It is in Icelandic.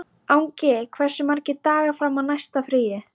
Gísla, hvernig verður veðrið á morgun?